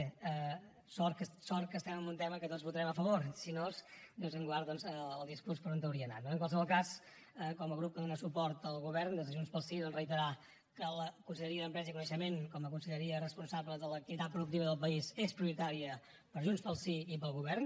bé sort que estem en un tema en què tots votarem a favor si no déu nos en guard doncs el discurs per on hauria anat no en qualsevol cas com a grup que dona suport al govern des de junts pel sí doncs reiterar que la conselleria d’empresa i coneixement com a conselleria responsable de l’activitat productiva del país és prioritària per a junts pel sí i per al govern